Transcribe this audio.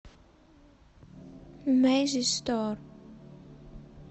мэззи стар